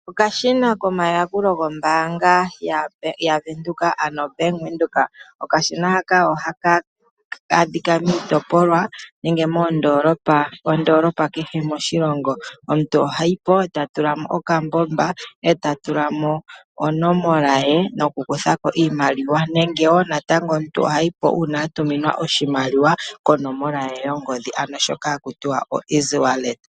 Okashina komayakulo gombaanga, ano ombaanga yaBank Windhoek. Okashina haka ohaka adhika miitopolwa nenge moondoolopa kehe moshilongo. Omuntu ohayi po eta tula mo okambomba, e ta tula mo onomola ye mokukutha ko iimaliwa nenge omuntu tayi po natango a tuminwa oshimaliwa konomola ye yongodhi, ano shoka haku tiwa oeasy wallet.